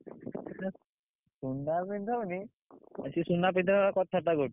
ନା ସୁନା ପିନ୍ଧଉନି ସିଏ ସୁନା ପିନ୍ଧେଇଲା ପରିକା କଥା ବାର୍ତା କରୁଛି।